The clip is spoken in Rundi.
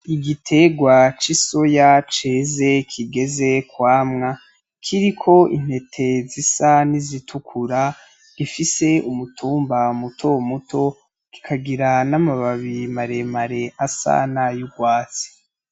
Igiterwa c'isoya ceze kigeze kwamwa kiriko intete zisa n'izitukura ifise umutumba mutomuto, kikagira n'amababi maremare asa nay'urwatsi.